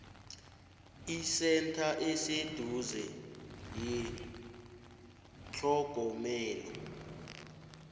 isentha eseduze yethlogomelo